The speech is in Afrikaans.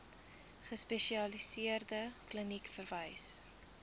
gespesialiseerde kliniek verwys